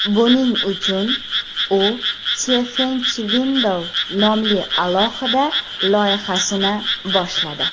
Buning uchun u Tiefenschwindel nomli alohida loyihasini boshladi.